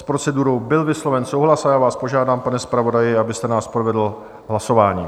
S procedurou byl vysloven souhlas a já vás požádám, pane zpravodaji, abyste nás provedl hlasováním.